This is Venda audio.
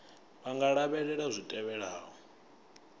vha nga lavhelela zwi tevhelaho